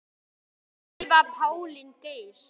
Drífa Pálín Geirs.